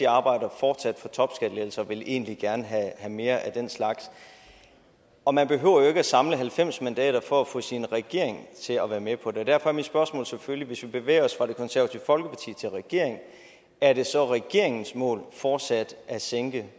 arbejder fortsat for topskattelettelser og vil egentlig gerne have mere af den slags og man behøver jo ikke at samle halvfems mandater for at få sin regering til at være med på det og derfor er mit spørgsmål selvfølgelig hvis vi bevæger os fra det konservative folkeparti til regeringen er det så regeringens mål fortsat at sænke